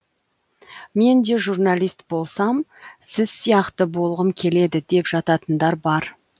мен де журналист болсам сіз сияқты болғым келеді деп жататындар бар